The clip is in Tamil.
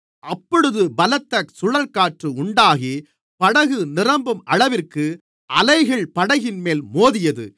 அப்பொழுது பலத்த சுழல்காற்று உண்டாகி படகு நிரம்பும் அளவிற்கு அலைகள் படகின்மேல் மோதியது